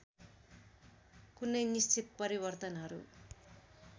कुनै निश्चित परिवर्तनहरू